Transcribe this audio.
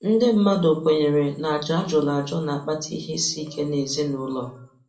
Ndị mmadụ kwenyere na àjà a jụrụ ajụ na-akpata ihe isi ike n'ezinụlọ.